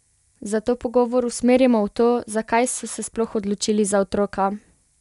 Zato pogovor usmerimo v to, zakaj so se sploh odločili za otroka?